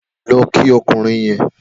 Lọ kí ọkùnrin yèn